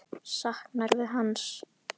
Saknarðu hans?